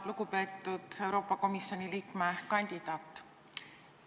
Lugupeetud Euroopa Komisjoni liikme kandidaat!